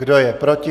Kdo je proti?